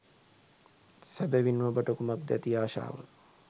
සැබවින්ම ඔබට කුමක්ද ඇති ආශාව